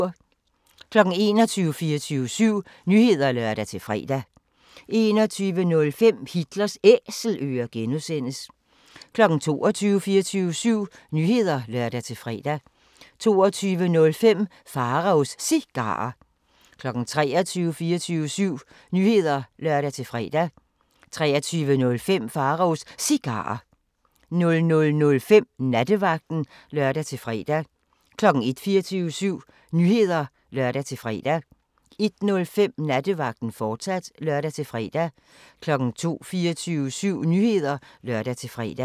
21:00: 24syv Nyheder (lør-fre) 21:05: Hitlers Æselører (G) 22:00: 24syv Nyheder (lør-fre) 22:05: Pharaos Cigarer 23:00: 24syv Nyheder (lør-fre) 23:05: Pharaos Cigarer 00:05: Nattevagten (lør-fre) 01:00: 24syv Nyheder (lør-fre) 01:05: Nattevagten, fortsat (lør-fre) 02:00: 24syv Nyheder (lør-fre)